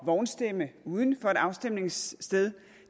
vognstemme uden for et afstemningssted